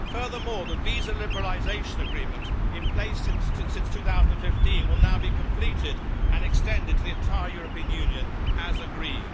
Furthermore, the visa liberalisation agreement, in place since 2015, will now be completed and extended to the entire European Union, as agreed.